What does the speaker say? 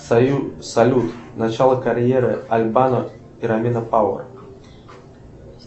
салют начало карьеры аль бано и рамина пауэр